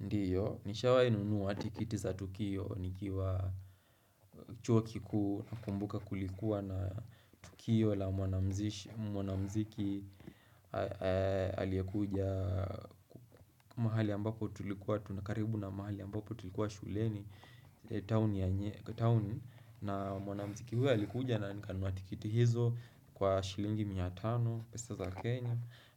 Ndiyo, nishawahinunua tikiti za Tukio, nikiwa chuo kikuu nakumbuka kulikuwa na Tukio la mwanamzishi mwanamziki aliyekuja mahali ambapo tulikuwa tunakaribu na mahali ambapo tulikuwa shuleni, town na mwanamziki huwa alikuja na nikanunua tikiti hizo kwa shilingi mia tano, pesa za Kenya,